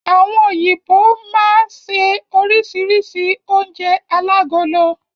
Àwọn òyìnbó máa máa ṣe oríṣìíríṣìí oúnjẹ alágolo.